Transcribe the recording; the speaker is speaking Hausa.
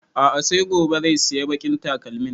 A'a sai gobe zai sayi baƙin takalmin